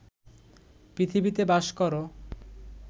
পৃথিবীতে বাস কর